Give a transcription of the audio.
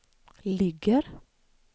ligger